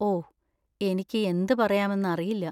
ഓ, എനിക്ക് എന്ത് പറയാമെന്ന് അറിയില്ല.